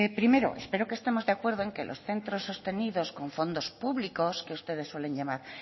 primero espero que estemos de acuerdo en que los centros sostenidos con fondos públicos que ustedes suelen llamar